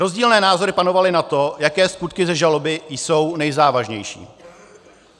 Rozdílné názory panovaly na to, jaké skutky ze žaloby jsou nejzávažnější.